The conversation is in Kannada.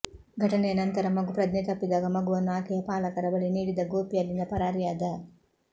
ಘಟನೆಯ ನಂತರ ಮಗು ಪ್ರಜ್ಞೆ ತಪ್ಪಿದಾಗ ಮಗುವನ್ನು ಆಕೆಯ ಪಾಲಕರ ಬಳಿ ನೀಡಿದ ಗೋಪಿ ಅಲ್ಲಿಂದ ಪರಾರಿಯಾದ